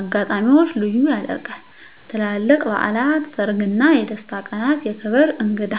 አጋጣሚዎች ልዩ ያደርጋል -ትላልቅ በዓላት -ሰርግ እና የደስታ ቀናት -የክብር እንግዳ